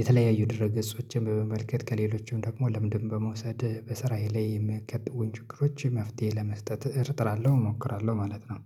የተለያዩ ድረ ገጾችን በመመልከት ከሌሎችም ደግሞ ልምንድን በመውሰድ በስራዬ ላይ የምትከትሉኝ የምከትለውን ችግሮች መፍትሄ ለመስጠት እርጥራለሁ እሞክራለሁ ማለት ነው